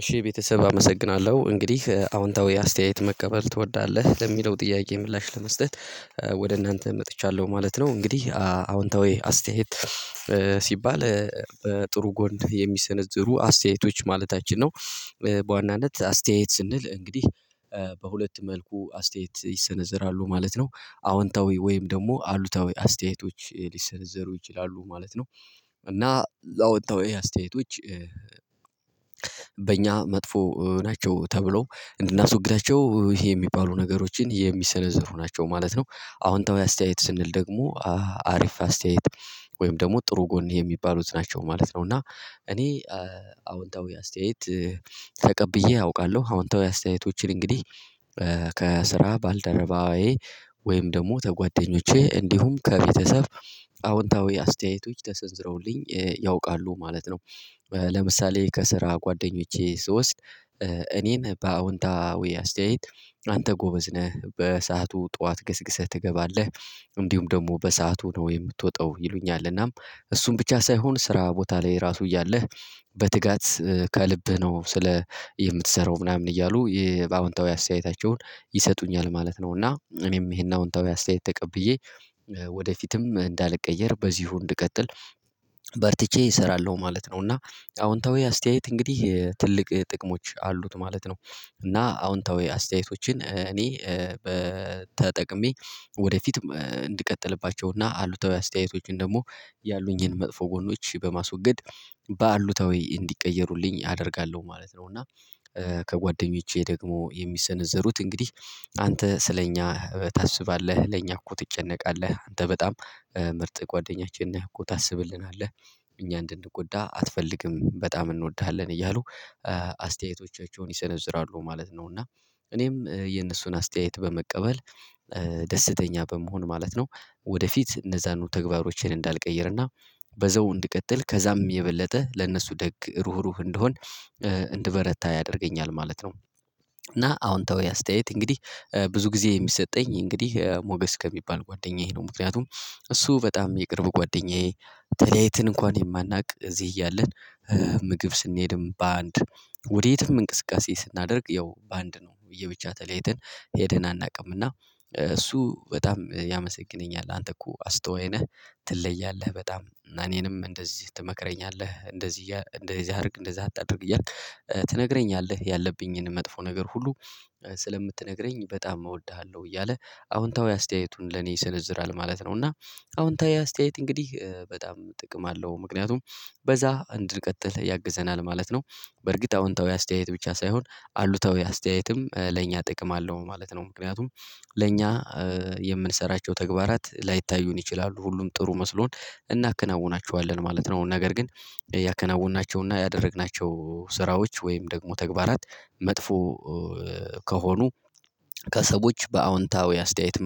እሺ ቤተሰብ አመሰግናለሁ እንግዲህ አዎንታዊ አስተያየት መቀበል ትወዳለህ ለሚለው ጥያቄ ምላሽ ለመስጠት ወደ እናንተ መጥቻለሁ ማለት ነው። እንግዲህ አዎንታዊ አስተያየት ሲባል በጥሩ ጎን የሚሰነዘሩ አስተያየቶች ማለታችን ነው። በዋናነት አስተያየት ስንል እንግዲህ በሁለት መልኩ አስተያየት ይሰነዘራሉ ማለት ነው አዎንታዊ ወይም ደግሞ አሉታዊ አስተያየቶች ሊሰነዘሩ ይችላሉ ማለት ነው። እና ያአውንታዊ አስተያየቶች በእኛ መጥፎ ናቸው ተብሎ እንድናስወግዳቸው ይሄ የሚባሉ ነገሮችን የሚሰነዝሩ ናቸው ማለት ነው። አወንታዊይ አስተያየት ስንል ደግሞ አሪፍ አስተያየት ወይም ደግሞ ጥሩ ጎን የሚባሉት ናቸው ማለት ነው። እና እኔ አዎንታዊ አስተያየት ተቀብዬ አውቃለሁ አዎንታዊ አስተያየቶችን እንግዲህ ከስራ ባልደረባዬ ወይም ደግሞ ተጓደኞቼ እንዲሁም ከቤተሰብ አዎንታዊ አስተያየቶች ተሰንዝረውልኝ ያውቃሉ ማለት ነው። ለምሳሌ ከስራ ጓደኞቼ ስወስድ እኔን በአዎንታዊ አስተያየት አንተ ጎበዝ ነህ በሰአቱ ጠዋት ገስግሰህ ትገባለህ። እንዲሁም ደግሞ በሰአቱ ነው የምትወጣው ይሉኛል እናም ብቻ ሳይሆን ስራ ቦታ ላይ ራሱ እያለህ በትጋት ከልብህ ነው ስለ የምትሰራው ምናምን እያሉ የባአውንታዊ አስተያየታቸውን ይሰጡኛል ማለት ነው። እና እኔም ይሄን አዎንታዊ አስተያየት ተቀብዬ ወደፊትም እንዳለቀየር በዚሁ እንድቀጥል በርትቼ እሰራለሁ ማለት ነው። እና አዎንታዊ አስተያየት እንግዲህ ትልቅ ጥቅሞች አሉት ማለት ነው። እና አዎንታዊ አስተያየቶችን እኔ በተጠቅሜ ወደፊትም እንድቀጥልባቸው እና አሉታዊ አስተያየቶችን ደግሞ ያሉኝን መጥፎ ጎኖች በማስወገድ ባአሉታዊ እንዲቀየሩልኝ አደርጋለሁ ማለት ነው። እና ከጓደኞቼ ደግሞ የሚሰነዘሩት እንግዲህ አንተ ስለኛ ታስባለህ ለኛ እኮ ትጨነቃለህ አንተ በጣም ምርጥ ጓደኛችን ነህ እኮ ታስብልናለህ እኛ እንድንጎዳ አትፈልግም በጣም እንወድሃለን እያሉ አስተያየቶቻቸውን ይሰነዝራሉ ማለት ነው። እና እኔም የእነሱን አስተያየት በመቀበል ደስተኛ በመሆን ማለት ነው። ወደፊት እነዛኑ ተግባሮችን እንዳልቀየረ አሰና በዘው እንድቀጥል ከዛም የበለጠ ለነሱ ደግ ሩሩህ እንደሆን እንደበረታ ያደርገኛል ማለት ነው። እና አዎንታዊ አስተያየት እንግዲህ ብዙ ጊዜ የሚሰጠኝ እንግዲህ ሞገስ ከሚባል ጓደኛዬ ነው ምክንያቱም እሱ በጣም የቅርብ ጓደኛዬ ተለያይተን እንኳን የማናውቅ እዚህ እያለን ምግብ ስንሄድም በአንድ ወዴትም እንቅስቃሴ ስናደርግ ያው በአንድ ነው። እየብቻ ተለያይትን ሄድን አናቅም እና እሱ በጣም ያመሰግነኛል አንተ እኮ አስቶይ ነህ ትለያለህ በጣም እኔንም እንደዚህ ትመክረኛለህ እንደዚህ እንደዚህ አድርግ እንደዛ አታድርግ እያልክ ትነግረኛለህ ያለብኝን መጥፎ ነገር ሁሉ ስለምትነግረኝ በጣም እወድሃለሁ እያለ አዎንታዊ አስተያየቱን ለኔ ይሰነዝራል ማለት ነው። እና አዎንታዊ አስተያየት እንግዲህ በጣም ጥቅም አለው ምክንያቱም በዛ እንድንቀጥል ያግዘናል ማለት ነው። በርግጥ አዎንታዊ አስተያየት ብቻ ሳይሆን አሉታዊ አስተያየትም ለእኛ ጥቅም አለው ማለት ነው ምክንያቱም ለእኛ የምንሰራቸው ተግባራት ላይታዩን ይችላሉ ሁሉም ጥሩ መስሎን እናከናውናቸዋለን ማለት ነው። ነገር ግን ያከናወናቸው እና ያደረግናቸው ስራዎች ወይም ደግሞ ተግባራት መጥፎ ከሆኑ ከሰዎች በአዎንታዊ አስተያየት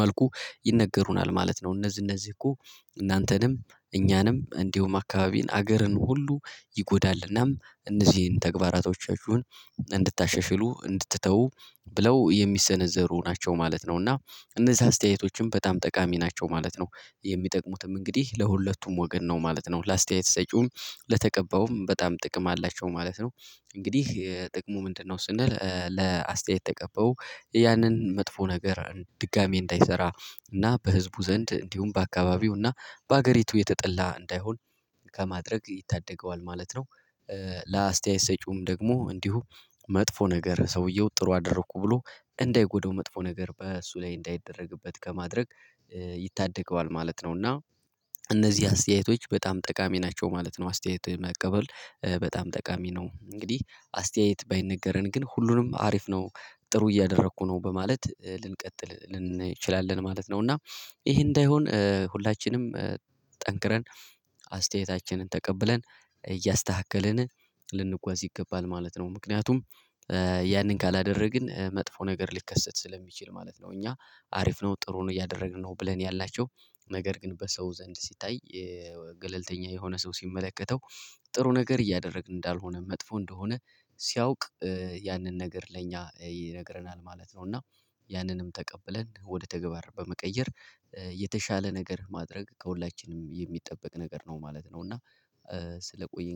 መልኩ ይነገሩናል ማለት ነው። እነዚህ እነዚህ እኮ እናንተንም እኛንም እንዲሁም አካባቢን ሀገርን ሁሉ ይጎዳል እና እነዚህን ተግባራቶቻችሁን እንድታሸሽሉ እንድትተው ብለው የሚሰነዘሩ ናቸው ማለት ነው። እና እነዚህ አስተያየቶችም በጣም ጠቃሚ ናቸው ማለት ነው የሚጠቅሙትም እንግዲህ ለሁለቱም ወገን ነው ማለት ነው ለአስተያየት ሰጪውም ለተቀባውም በጣም ጥቅም አላቸው ማለት ነው። እንግዲህ ጥቅሙ ምንድነው? ስንል ለአስተያየት ተቀባዩ ያንን መጥፎ ነገር ድጋሚ እንዳይሰራ እና በህዝቡ ዘንድ እንዲሁም በአካባቢው እና በሀገሪቱ የተጠላ እንዳይሆን ከማድረግ ይታደገዋል ማለት ነው። ለአስተያየት ሰጪውም ደግሞ እንዲሁ መጥፎ ነገር ሰውየው ጥሩ አደረኩ ብሎ እንዳይጎዳው መጥፎ ነገር በእሱ ላይ እንዳይደረግበት ከማድረግ ይታደገዋል ማለት ነው። እና እነዚህ አስተያየቶች በጣም ጠቃሚ ናቸው ማለት ነው። አስተያየት መቀበል በጣም ጠቃሚ ነው። እንግዲህ አስተያየት ባይነገረን ግን ሁሉንም አሪፍ ነው ጥሩ እያደረኩ ነው በማለት ልንቀጥል ልንችላለን ማለት ነው። እና ይሄ እንዳይሆን ሁላችንም ጠንክረን አስተያየታችንን ተቀብለን እያስተካከልን ልንጓዝ ይገባል ማለት ነው። ምክንያቱም ያንን ካላደረግን መጥፎ ነገር ሊከሰት ስለሚችል ማለት ነው። እኛ አሪፍ ነው ጥሩ ነው እያደረግን ነው ብለን ያልናቸው ነገር ግን በሰው ዘንድ ሲታይ ገለልተኛ የሆነ ሰው ሲመለከተው ጥሩ ነገር እያደረግን እንዳልሆነ መጥፎ እንደሆነ ሲያውቅ ያንን ነገር ለኛ ይነግረናል ማለት ነው። እና ያንንም ተቀብለን ወደ ተግባር በመቀየር የተሻለ ነገር ማድረግ ከሁላችንም የሚጠበቅ ነገር ነው ማለት ነው። እና ስለቆየኝ